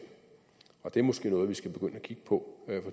det er måske noget vi skal begynde at kigge på